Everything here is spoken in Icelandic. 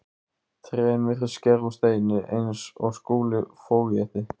Trén virtust gerð úr steini eins og Skúli fógeti.